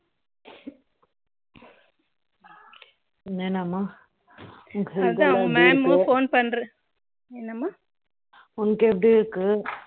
உன்னக்கு எப்படி இருக்கு அதுதான் அவங்க mam phone பண்ற என்னமா உனக்கு எப்படி இருக்கு